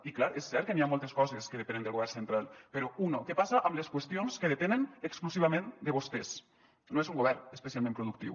i clar és cert que hi han moltes coses que depenen del govern central però una què passa amb les qüestions que depenen exclusivament de vostès no és un govern especialment productiu